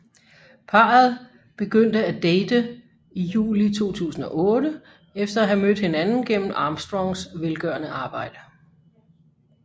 Parret begyndte at date i juli 2008 efter at have mødt hinanden gennem Armstrongs velgørende arbejde